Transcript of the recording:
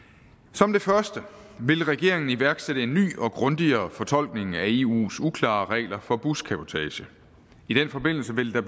som det første vil regeringen iværksætte en ny og grundigere fortolkning af eus uklare regler for buscabotage i den forbindelse vil der